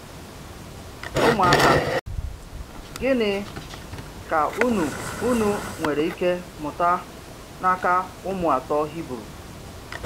Ụmụaka, gịnị ka unu unu nwere ike mụta n’aka ụmụ atọ Hibru?